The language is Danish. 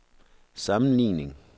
sammenligning